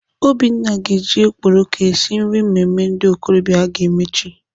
Obinna ga-eji okporoko esi nri mmemme ndị okorobịa aga eme echi.